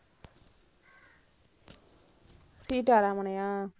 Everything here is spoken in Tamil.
சீதாராமனையா?